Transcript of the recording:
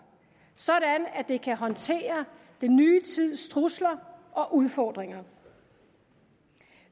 så det kan håndtere den nye tids trusler og udfordringer